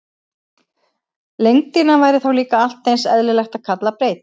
Lengdina væri þá líka allt eins eðlilegt að kalla breidd.